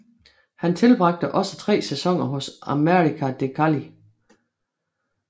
Han tilbragte også tre sæsoner hos América de Cali